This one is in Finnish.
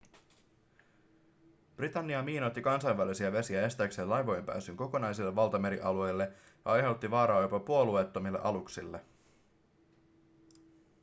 britannia miinoitti kansainvälisiä vesiä estääkseen laivojen pääsyn kokonaisille valtamerialueille ja aiheutti vaaraa jopa puolueettomille aluksille